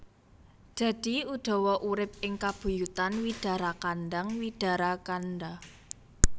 Dadi Udawa urip ing kabuyutan Widarakandhang Widarakandha